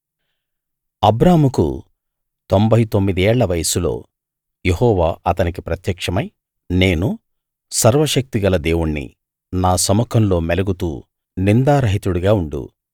అబ్రాముకు తొంభై తొమ్మిది ఏళ్ల వయసులో యెహోవా అతనికి ప్రత్యక్షమై నేను సర్వశక్తి గల దేవుణ్ణి నా సముఖంలో మెలగుతూ నిందారహితుడిగా ఉండు